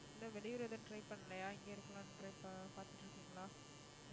இல்லை வெளியூர் எதுவும் try பண்ணலையா இங்கே இருக்கலாம்ன்னு tr~ பார்த்துட்டு இருக்கீங்களா